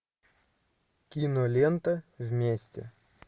кинолента вместе